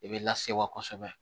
I bɛ lase wa kosɛbɛ